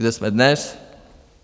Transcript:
Kde jsme dnes?